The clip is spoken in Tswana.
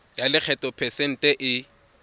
ya lekgetho phesente e